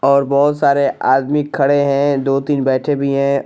और बहुत सारे आदमी खड़े हैं दो तीन बैठे भी हैं।